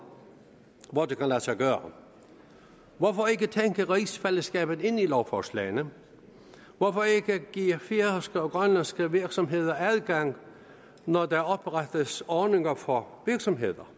hvor det kan lade sig gøre hvorfor ikke tænke rigsfællesskabet ind i lovforslagene hvorfor ikke give færøske og grønlandske virksomheder adgang når der oprettes ordninger for virksomheder